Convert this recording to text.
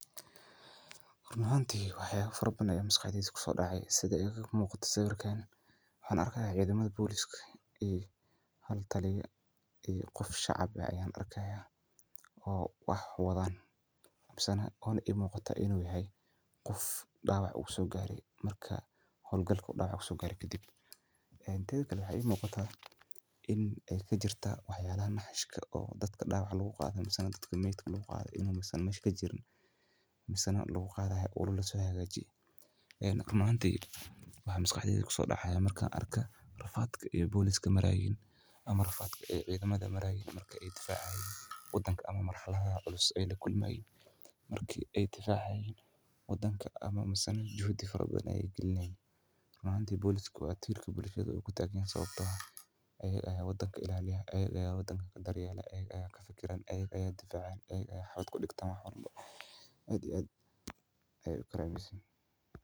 Run ahantii wax yaaba farabban ay misqaxdheydii ku soo dhacay sida ay muuqata sawirkaan. Wuxuu arkayaa ciidamada booliiska iyo hawtalyo iyo qof shacab ayay arkayaa oo ah wadaan habsana oon muuqata inuu yahay qof dhawac u soo gaaray marka hawlgalku dhawac u soo gaaray ka dib. Ee inteed gali waxay muuqata inay ka jirta wax yaala naaxishka oo dadka dhaawaca lagu qaaday, ma aysan dadka maydhigga lagu qaaday inuu ma aysan mashiinka jirin ma aysan lagu qaaday ahay ulul la soo yeegaji. Ee run ahantiisa waxay misqaxdheydii ku soo dhacaya mar ka arka rafaadka ee booliiska marayn ama rafaadka ay ciidamada marayn marka ay difaacayn waddanka ama marxalaha cusub ay la kulmayn markii ay tifaacay waddanka ama ma aysan jehdi farabadan ayay gelneyd. Ma antii booliisku waa tiilka booliisku ugu taagan sababtoo ah ayag aya waddanka ilaaliya, ayag aya waddanka daryeella, ayag aya ka fakiran, ayag aya difaacin, ayag aya xafad ku dhigtama horum ayyad ayyad ay u kareemaysan.